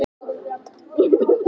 Ég var með boltann.